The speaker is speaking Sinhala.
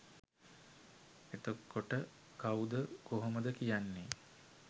එතකොට කව්ද කොහොමද කියන්නෙ